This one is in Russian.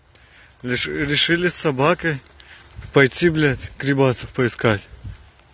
решили собаки пойти блять климата поискать